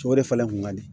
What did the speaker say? O de falen kun ka di